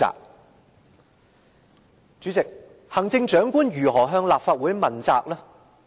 代理主席，行政長官如何向立法會問責？